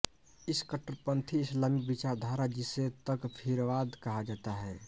इस कट्टरपन्थी इस्लामी विचारधारा जिसे तकफ़ीरवाद कहा जाता है